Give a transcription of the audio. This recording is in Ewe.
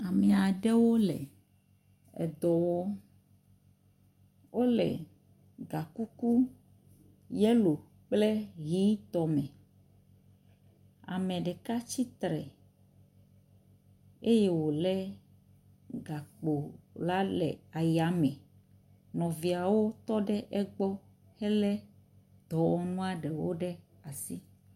Ame aɖewo le edɔ wɔm. wo le gakuku yelo kple ʋitɔ me. Ame ɖeka tsitre eye wo le gakpo la le ayame. Nɔviawo tɔ ɖe egbɔ hele dɔwɔnua ɖewo ɖe asi.